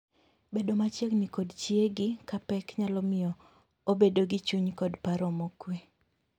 Bedo machiegni kod chiegi ka pek nyalo miyo obedo gi chuny kod paro mokwe.